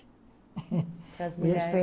Para as mulheres...